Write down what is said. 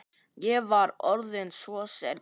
Ég var orðinn svo seinn.